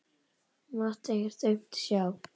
Hún mátti ekkert aumt sjá.